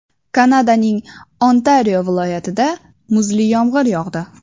Kanadaning Ontario viloyatida muzli yomg‘ir yog‘di.